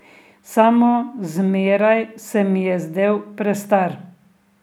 Samo zmeraj se mi je zdel prestar.